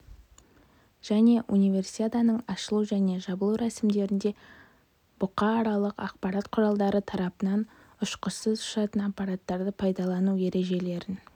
және универсиаданың ашылу және жабылу рәсімдерінде бұқаралық ақпарат құралдары тарапынан ұшқышсыз ұшатын аппараттарды пайдалану ережелерін